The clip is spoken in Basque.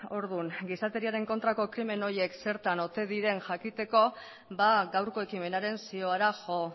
orduan gizateriaren kontrako krimen horiek zertan ote diren jakiteko gaurko ekimenaren ziora jo